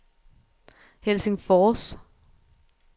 Helsingfors